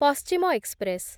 ପଶ୍ଚିମ ଏକ୍ସପ୍ରେସ୍‌